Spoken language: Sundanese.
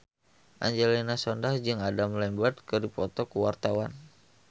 Angelina Sondakh jeung Adam Lambert keur dipoto ku wartawan